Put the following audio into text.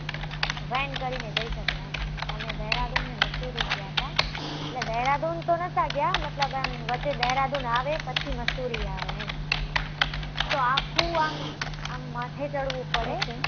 Van કરીને જઈ શકો એમ. અમે દહેરાદૂન અને મસૂરી ગયા હતા, એટલે દેહરાદૂન તો ન્હોતા ગયા, મતલબ આમ, વચ્ચે દહેરાદૂન આવે પછી મસૂરી આવે એમ. તો આખુ આમ, આમ માથે ચડવું પડે